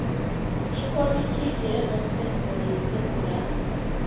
ikhomitjhini yezomthetho yesewula